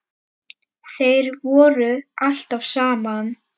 Þeir voru alltaf saman.